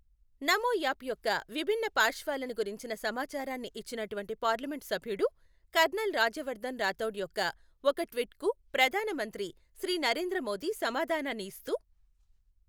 నమో app యొక్క విభిన్న పార్శ్వాలను గురించిన సమాచారాన్ని ఇచ్చినటువంటి పార్లమెంట్ సభ్యుడు కర్నల్ రాజ్యవర్ధన్ రాఠౌడ్ యొక్క ఒక ట్వీట్ కు ప్రధాన మంత్రి శ్రీ నరేంద్ర మోదీ సమాధానాన్ని ఇస్తూ,